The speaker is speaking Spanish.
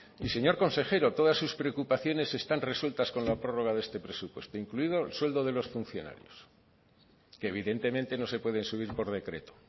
y señor consejero todas sus preocupaciones están resueltas con la prórroga de este presupuesto incluido el sueldo de los funcionarios que evidentemente no se pueden subir por decreto